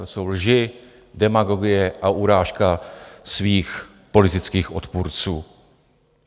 To jsou lži, demagogie a urážka svých politických odpůrců.